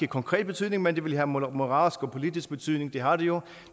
konkret betydning men det ville have moralsk og politisk betydning det har det jo